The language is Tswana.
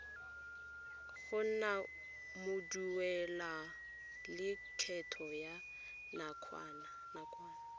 go nna moduelalekgetho wa nakwana